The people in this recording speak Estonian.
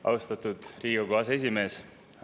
Austatud Riigikogu aseesimees!